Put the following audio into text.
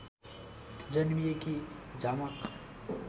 जन्मिएकी झमक